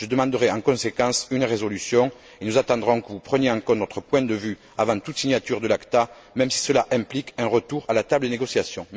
Je demanderai en conséquence une résolution et nous attendrons que vous preniez en compte notre point de vue avant toute signature de l'ACTA, même si cela implique un retour à la table des négociations.